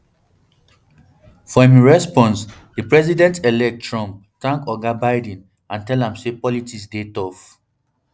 for im response di presidentelect trump thank oga biden and tell am say politics dey tough